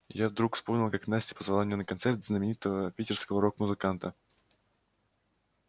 я вдруг вспомнил как настя позвала меня на концерт знаменитого питерского рок-музыканта